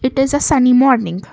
it is a sunny morning.